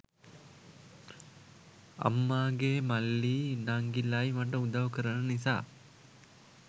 අම්මාගේ මල්ලියි නංගිලායි මට උදවු කරන නිසා